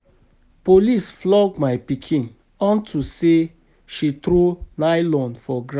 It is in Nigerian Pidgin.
Police flog my pikin unto say she throw nylon for ground